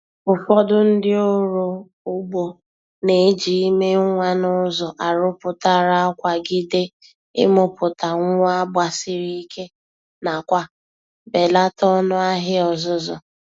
Ụfọdụ ndị oro ugbo na-eji ime nwa n’ụzọ arụpụtara akwagide imụpụta nwa gbasiri ike nakwa belata ọnụ ahịa ọzụzụ.